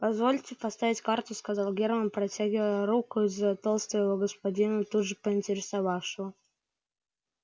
позвольте поставить карту сказал германн протягивая руку из-за толстого господина тут же понтировавшего